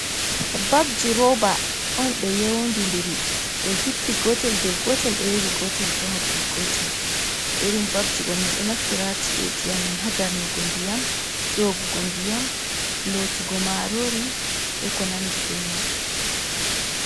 Bafji roba un ɓe yondi'ndiri ɓe hippi gotel dau gotel be yowi gotel bo ha dau gotel. Irin bafji ɗo min ɗo naftira ha chi'eeji amin ha darnugo ndiyam, nyedugo ndiyam, darnugo ndiyam, yogugo ndiyam, lotugo marori ɓe ko nandi ɓe man.